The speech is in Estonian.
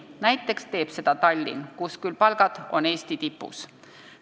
Näiteks teeb seda Tallinn, kus küll palgad on Eesti tipus.